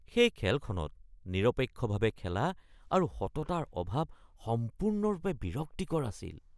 সেই খেলখনত নিৰপেক্ষভাৱে খেলা আৰু সততাৰ অভাৱ সম্পূৰ্ণৰূপে বিৰক্তিকৰ আছিল